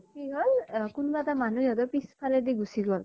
কি হল অ কোন বা এটা মানুহ সিহঁতৰ পিছ ফালে দি গুছি গল।